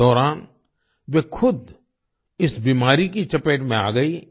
इस दौरान वे खुद इस बीमारी की चपेट में आ गईं